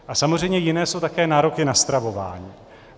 A samozřejmě jiné jsou také nároky na stravování.